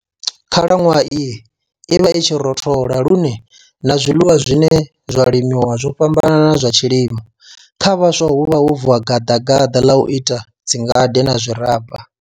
Khalanwaha iyi i vha i tshi rothola lune na zwiḽiwa zwine zwa limiwa zwo fhambana na zwa tshilimo. Kha vhaswa huvha ho vuwa gaḓagaḓa la u ita dzingade na zwiraba.